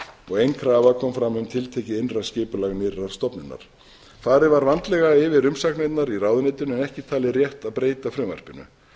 og ein krafa kom frá um tiltekið innra skipulag nýrrar stofnunar farið var vandlega yfir umsagnirnar í ráðuneytinu en ekki talið rétt að breyta frumvarpinu